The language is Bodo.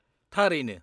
-थारैनो।